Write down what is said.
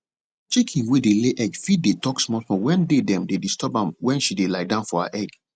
chicken wey dey ley egg fit dey talk small small wen dey dem dey disturb am wen she dey lie down for her egg